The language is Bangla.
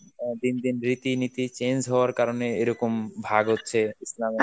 অ্যাঁ দিন দিন রীতিনীতি change হওয়ার কারণে এরকম ভাব হচ্ছে ইসলামে?